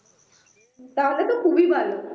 তাহলে তো খুবই ভালো